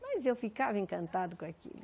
Mas eu ficava encantada com aquilo.